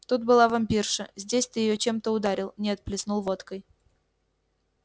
тут была вампирша здесь ты её чем-то ударил нет плеснул водкой